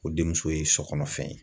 O denmuso ye sokɔnɔfɛn ye